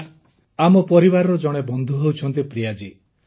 sir ଆମର ପରିବାରର ଜଣେ ବନ୍ଧୁ ହେଉଛନ୍ତି ପ୍ରିୟା ଜୀ